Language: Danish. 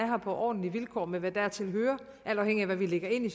her på ordentlige vilkår med hvad dertil hører alt afhængigt af hvad vi lægger ind i